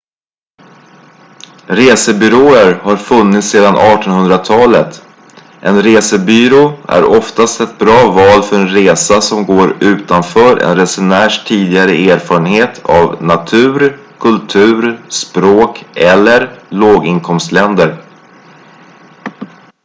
resebyråer har funnits sedan 1800-talet en resebyrå är oftast ett bra val för en resa som går utanför en resenärs tidigare erfarenhet av natur kultur språk eller låginkomstländer